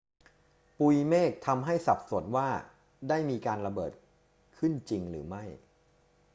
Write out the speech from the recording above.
ปุยเมฆทำให้สับสนว่าได้มีการระเบิดเกิดขึ้นจริงหรือไม่